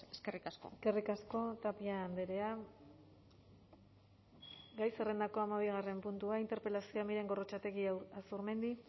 eskerrik asko eskerrik asko tapia andrea gai zerrendako hamabigarren puntua interpelazioa miren gorrotxategi azurmendi